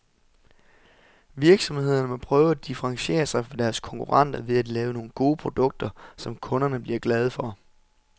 Virksomhederne må prøve at differentiere sig fra deres konkurrenter ved at lave nogle gode produkter, som kunderne bliver glade for.